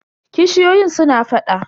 kishiyoyin suna faɗa.